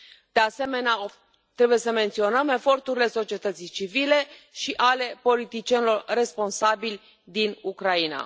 De asemenea, trebuie să menționăm eforturile societății civile și ale politicienilor responsabili din Ucraina.